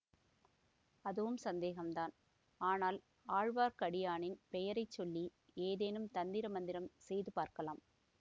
அதுவும் சந்தேகந்தான் ஆனால் ஆழ்வார்க்கடியானின் பெயரை சொல்லி ஏதேனும் தந்திர மந்திரம் செய்து பார்க்கலாம்